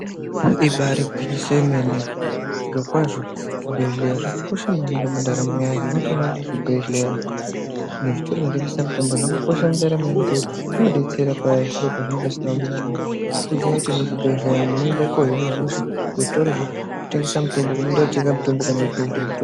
Ibaari gwinyiso remene zviro kwazvo zvibhedhlera zvakakosha maningi mundaramo wotoona kuti zvibhedhlera nezvitoro zvinotengesa mitombo zvakakosha zvinodetsera paye zviro pazvinenge zvisina kumira mushe woziya kuti muzvibhedhlera unoenda kuno hinwa hosha unoenda kuzvitoro zvinotengeswa mitombo kana kuzvibhedhlera.